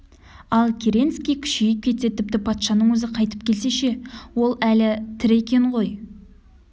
ал керенский күшейіп кетсе тіпті патшаның өзі қайтып келсе ше ол әлі тірі екен ғой